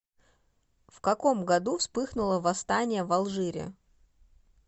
в каком году вспыхнуло восстание в алжире